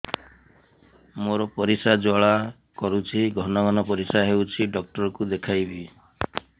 ମୋର ପରିଶ୍ରା ଜ୍ୱାଳା କରୁଛି ଘନ ଘନ ପରିଶ୍ରା ହେଉଛି ଡକ୍ଟର କୁ ଦେଖାଇବି